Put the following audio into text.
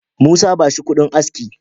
Musa, ba shi kudin aski